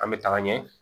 An bɛ taga ɲɛ